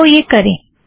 आओ यह करें